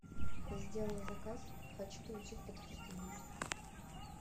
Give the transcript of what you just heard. я сделала заказ хочу получить подтверждение